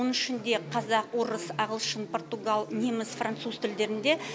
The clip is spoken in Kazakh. оның ішінде қазақ орыс ағылшын португал неміс француз тілдерінде